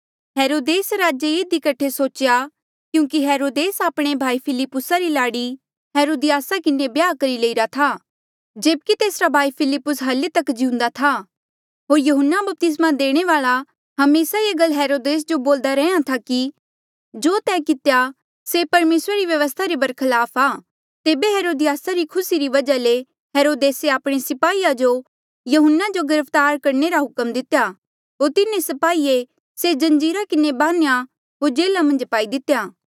हेरोदेस राजे ये इधी कठे सोच्या क्यूंकि हेरोदेसे आपणे भाई फिलिप्पुसा री लाड़ी हेरोदियासा किन्हें ब्याह करी लईरा था जेब्की तेसरा भाई फिलिप्पुस हल्ली तक जिउंदा था होर यहून्ना बपतिस्मा देणे वाल्आ हमेसा ये गल हेरोदेसा जो बोल्दा रैंहयां था कि जो तैं कितेया से परमेसरा री व्यवस्था ले बरखलाफ आ तेबे हेरोदियासा री खुसी री वजहा ले हेरोदेसे आपणे स्पाहीया जो यहून्ना जो गिरफ्तार करणे रा हुक्म दितेया होर तिन्हें स्पाहिये से जंजीरा किन्हें बान्ह्या होर जेल्हा मन्झ पाई दितेया